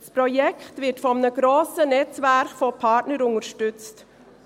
Das Projekt wird von einem grossen Netzwerk an Partnern unterstützt.